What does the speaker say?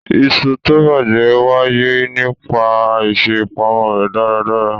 Iṣu tó bàjẹ́ wáyé nípa àìṣè ìpamọ́ rẹ̀ dáradára.